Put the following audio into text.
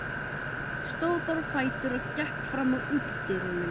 Stóð bara á fætur og gekk fram að útidyrunum.